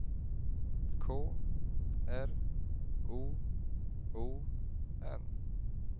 K R O O N